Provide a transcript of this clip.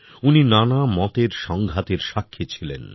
উনি নানা মতের সঙ্ঘাতের সাক্ষী ছিলেন